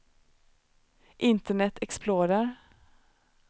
internet explorer